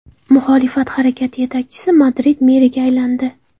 Muxolifat harakati yetakchisi Madrid meriga aylandi.